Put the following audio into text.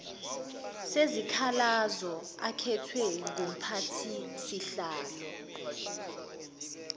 sezikhalazo akhethwe ngumphathisihlalo